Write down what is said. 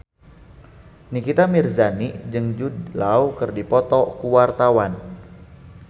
Nikita Mirzani jeung Jude Law keur dipoto ku wartawan